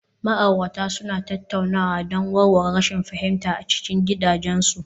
Ma'aurata suna tattaunawa don warware rashin fahimta a cikin gidajensu